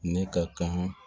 Ne ka kan